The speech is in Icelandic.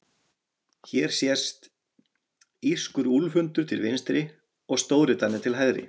Hér sést írskur úlfhundur til vinstri og stórdani til hægri.